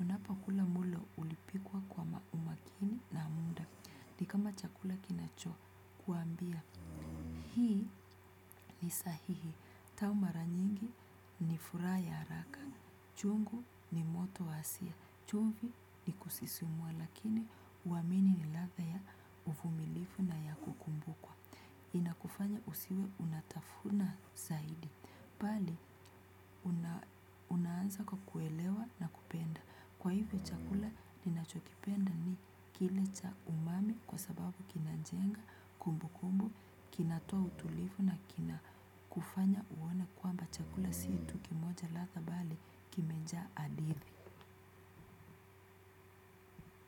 Unapakula mulo ulipikwa kwa ma umakini na mda. Nikama chakula kinachokuambia. Hii ni sahihi tau mara nyingi ni furaha ya haraka. Chungu ni moto wasia chumvi ni kusisimua. Lakini uamini ni ladha ya uvumilifu na ya kukumbukwa. Inakufanya usiwe unatafuna zaidi. Bali, una unaanza kwa kuelewa na kupenda kwa hivyo chakula ninachokipenda ni kile cha umami kwa sababu kinajenga kumbukumbu kinatoa utulivu na kinakufanya uone kwamba chakula si tu kimoja ladha bali kimejaa hadithi.